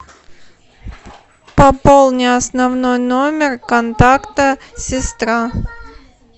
пополни основной номер контакта сестра